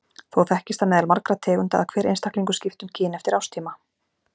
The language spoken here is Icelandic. Þó þekkist það meðal margra tegunda að hver einstaklingur skipti um kyn eftir árstíma.